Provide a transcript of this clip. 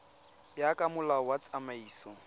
ya ka molao wa tsamaiso